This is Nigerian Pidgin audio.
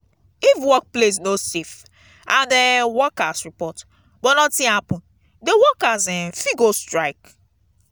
if workplace no safe and um workers report but nothing happen the workers um fit go strike